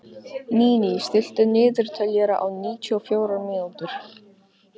Níní, stilltu niðurteljara á níutíu og fjórar mínútur.